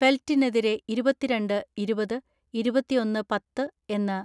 ഫെൽറ്റിനെതിരെ ഇരുപത്തിരണ്ട് ഇരുപത്, ഇരുപത്തിഒന്ന് പത്ത് എന്ന